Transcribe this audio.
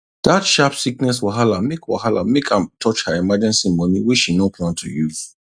dat sharp sickness wahala make wahala make am touch her emergency money wey she no plan to use